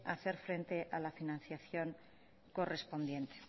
hacer frente a la financiación correspondiente